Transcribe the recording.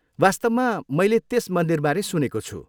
वास्तवमा मैले त्यस मन्दिरबारे सुनेको छु।